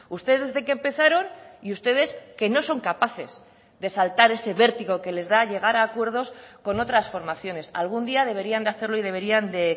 ustedes desde que empezaron y ustedes que no son capaces de saltar ese vértigo que les da llegar a acuerdos con otras formaciones algún día deberían de hacerlo y deberían de